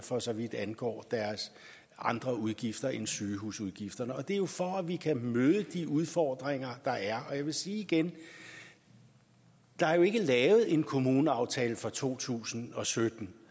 for så vidt angår deres andre udgifter end sygehusudgifterne det er jo for at vi kan møde de udfordringer der er og jeg vil sige igen der er ikke lavet en kommuneaftale for to tusind og sytten